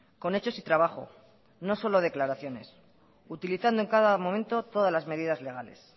con hechos y trabajo no solo declaraciones utilizando en cada momento todas las medidas legales